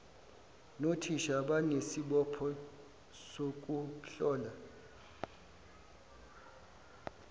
nothisha banesibopho sokuhlola